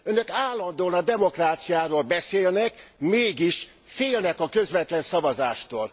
Önök állandóan a demokráciáról beszélnek, mégis félnek a közvetlen szavazástól.